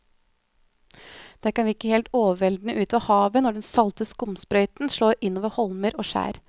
Det kan virke helt overveldende ute ved havet når den salte skumsprøyten slår innover holmer og skjær.